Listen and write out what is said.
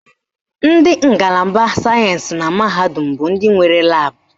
Ndị ngalaba sayensị na mahadum bụ ndị nwere laabụ